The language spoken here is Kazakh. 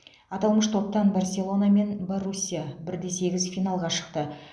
аталмыш топтан барселона мен боруссия бір де сегіз финалға шықты